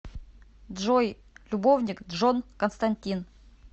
джой любовник джон константин